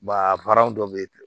a dɔ bɛ ye